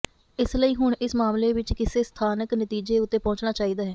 ਇਸ ਲਈ ਹੁਣ ਇਸ ਮਾਮਲੇ ਵਿੱਚ ਕਿਸੇ ਸਾਰਥਿਕ ਨਤੀਜੇ ਉੱਤੇ ਪਹੁੰਚਣਾ ਚਾਹੀਦਾ ਹੈ